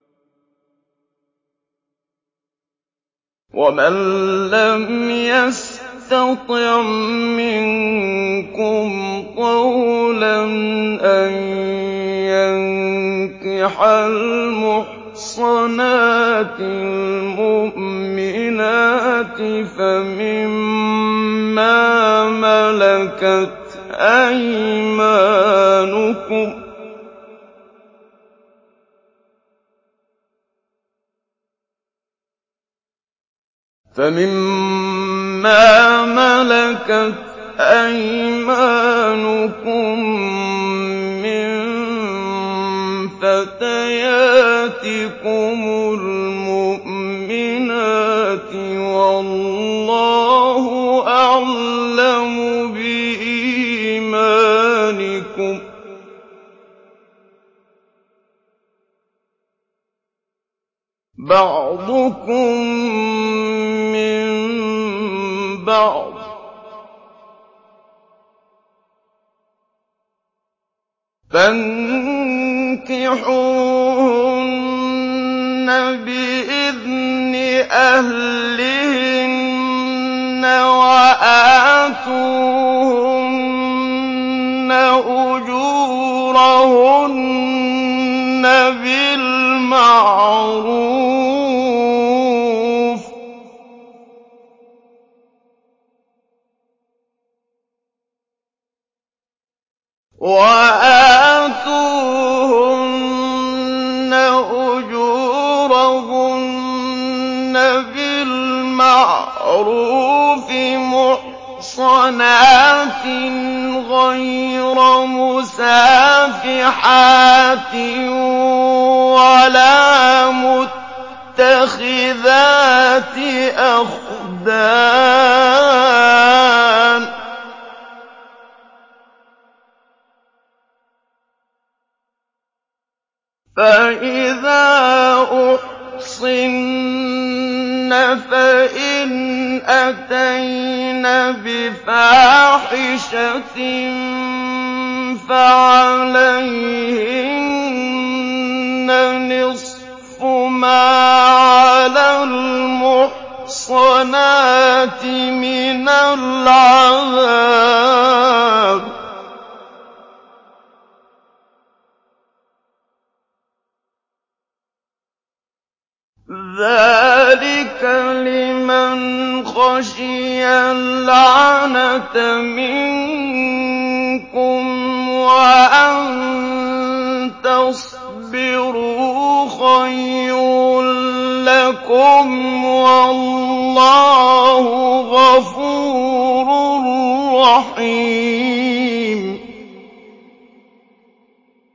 وَمَن لَّمْ يَسْتَطِعْ مِنكُمْ طَوْلًا أَن يَنكِحَ الْمُحْصَنَاتِ الْمُؤْمِنَاتِ فَمِن مَّا مَلَكَتْ أَيْمَانُكُم مِّن فَتَيَاتِكُمُ الْمُؤْمِنَاتِ ۚ وَاللَّهُ أَعْلَمُ بِإِيمَانِكُم ۚ بَعْضُكُم مِّن بَعْضٍ ۚ فَانكِحُوهُنَّ بِإِذْنِ أَهْلِهِنَّ وَآتُوهُنَّ أُجُورَهُنَّ بِالْمَعْرُوفِ مُحْصَنَاتٍ غَيْرَ مُسَافِحَاتٍ وَلَا مُتَّخِذَاتِ أَخْدَانٍ ۚ فَإِذَا أُحْصِنَّ فَإِنْ أَتَيْنَ بِفَاحِشَةٍ فَعَلَيْهِنَّ نِصْفُ مَا عَلَى الْمُحْصَنَاتِ مِنَ الْعَذَابِ ۚ ذَٰلِكَ لِمَنْ خَشِيَ الْعَنَتَ مِنكُمْ ۚ وَأَن تَصْبِرُوا خَيْرٌ لَّكُمْ ۗ وَاللَّهُ غَفُورٌ رَّحِيمٌ